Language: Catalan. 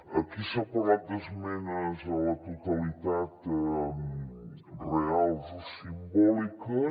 aquí s’ha parlat d’esmenes a la totalitat reals o simbòliques